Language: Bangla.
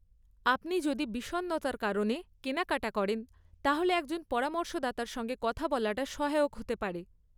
আপনি যদি বিষণ্নতার কারণে কেনাকাটা করেন, তাহলে একজন পরামর্শদাতার সঙ্গে কথা বলাটা সহায়ক হতে পারে।